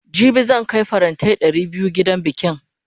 jibi zan Kai farantai Ɗari da biyu gidan bikin